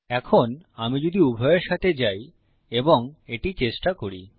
এখন আমি যদি উভয়ের সাথে যাই এবং এটি চেষ্টা করি